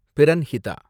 Pranhita